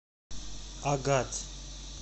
агат